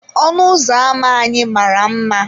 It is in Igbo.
Ọnụ ụzọ ámá anyị mara mma.